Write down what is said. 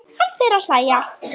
Hann fer að hlæja.